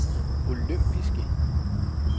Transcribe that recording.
olympiske